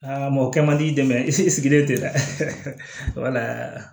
mɔkɛ man di dɛmɛ i sigilen tɛ dɛ wala